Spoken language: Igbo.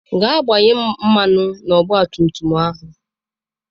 Gaa gbanye mmanụ na ọgba tum tum ahụ!